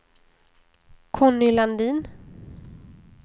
Conny Landin